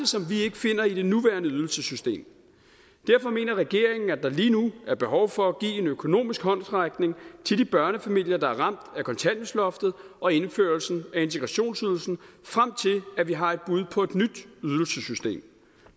som vi ikke finder i det nuværende ydelsessystem derfor mener regeringen at der lige nu er behov for at give en økonomisk håndsrækning til de børnefamilier der er ramt af kontanthjælpsloftet og indførelsen af integrationsydelsen frem til at vi har et bud på et nyt ydelsessystem